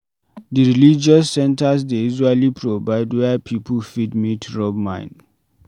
Di religious centers dey usually provide where pipo fit meet rub mind